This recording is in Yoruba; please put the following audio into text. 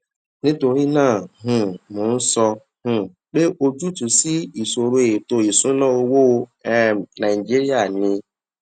nítorí náà um mo ń sọ um pé ojútùú sí ìṣòro ètò ìṣúnná owó um nàìjíríà ni